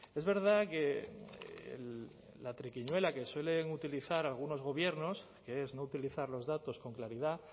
es verdad que la triquiñuela que suelen utilizar algunos gobiernos que es no utilizar los datos con claridad